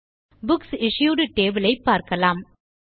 books issued table ஐ பார்க்கலாம்